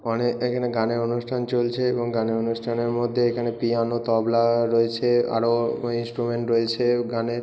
অনে এখানে গানের অনুষ্ঠান চলছে এবং গানের অনুষ্ঠানের মধ্যে এখানে পিয়ানো তবলা-আ রয়েছে আরো-ও ইন্সটুমেন্ট রয়েছে গানের।